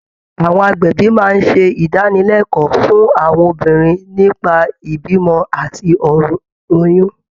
Àwọn agbẹ̀bí máa ń ṣe ìdánilẹ́kọ̀ọ́ fún àwọn obìnrin nípa ìbímọ àti ọ̀rọ̀ oyún